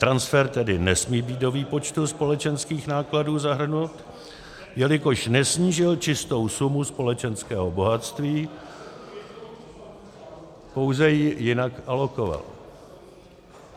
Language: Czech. Transfer tedy nesmí být do výpočtu společenských nákladů zahrnut, jelikož nesnížil čistou sumu společenského bohatství, pouze ji jinak alokoval.